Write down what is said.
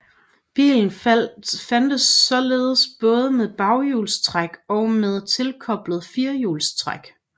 Bilen fandtes både med baghjulstræk og med tilkobleligt firehjulstræk